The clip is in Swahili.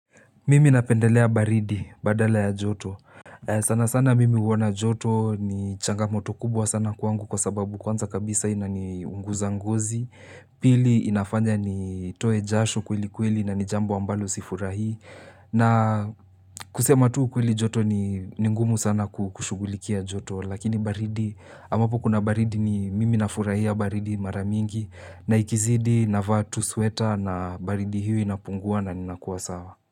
Mimi napendelea baridi badala ya joto. Sana sana mimi uona joto ni changamoto kubwa sana kwangu kwa sababu kwanza kabisa ina ni unguza ngozi. Pili inafanya ni toe jashu kweli kweli na ni jambo ambalo sifurahii. Na kusema tu ukweli joto ni ngumu sana kushugulikia joto. Lakini baridi amapo kuna baridi ni mimi na furahia baridi maramingi na ikizidi navaatu sweta na baridi hio inapungua na ninakuwa sawa.